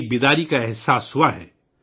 بیداری کا ایک احساس ہوا ہے